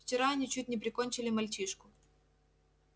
вчера они чуть не прикончили мальчишку